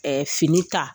fini ta